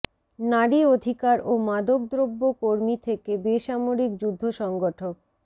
নারী অধিকার ও মাদকদ্রব্য কর্মী থেকে বেসামরিক যুদ্ধ সংগঠক